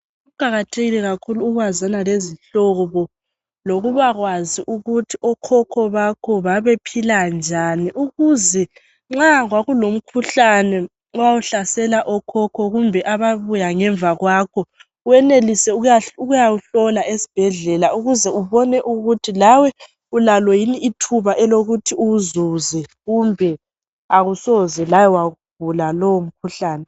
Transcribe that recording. Kuqakathekile kakhulu ukwazana lezihlobo lokubakwazi ukuthi okhokho bakho babephila njani ukuze nxa kwakulomkhuhlane owawuhlasela okhokho kumbe ababuya ngemva kwakho wenelise ukuyawuhlola esibhedlela ukuze ubone ukuthi lawe ulalo yini ithuba elokuthi uwuzuze kumbe awusoze lawe wawugula lowo mkhuhlane